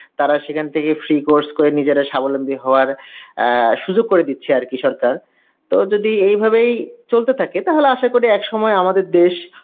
তারা সেখান থেকে free course করে নিজেরা স্বাবলম্বী হওয়ার অ্যাঁ সুযোগ করে দিচ্ছে আর কি সরকার. তাও যদি এই ভাবেই চলতে থাকে তাহলে আশা করি এক সময় আমাদের দেশ